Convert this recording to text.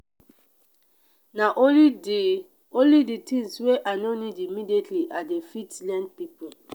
na only di only di tins wey i no need immediately i fit lend pipo.